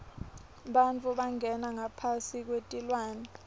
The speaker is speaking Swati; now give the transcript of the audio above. bantfu bangena ngaphasi kwetilwane